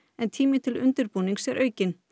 en tími til undirbúnings er aukinn